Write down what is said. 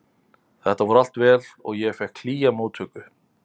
Þetta fór allt vel og ég fékk hlýja móttöku.